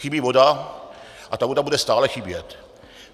Chybí voda a ta voda bude stále chybět.